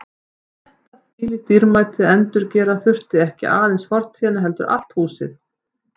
Og þetta þvílíkt dýrmæti að endurgera þurfti ekki aðeins fortíðina heldur allt húsið.